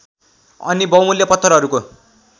अनि बहुमूल्य पत्थरहरूको